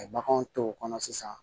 A ye baganw to o kɔnɔ sisan